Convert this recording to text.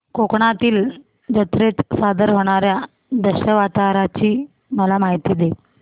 कोकणातील जत्रेत सादर होणार्या दशावताराची मला माहिती दे